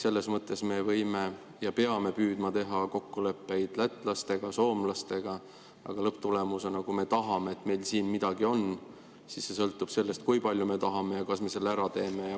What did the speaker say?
Selles mõttes me peame püüdma teha kokkuleppeid lätlastega ja soomlastega, aga lõpptulemusena, kui me tahame, et meil siin midagi on, siis see sõltub sellest, kui palju me tahame ja kas me selle ära teeme.